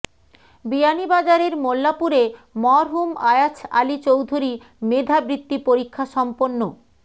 বিয়ানীবাজারের মোল্লাপুরে মরহুম আয়াছ আলী চৌধুরী মেধা বৃত্তি পরীক্ষা সম্পন্ন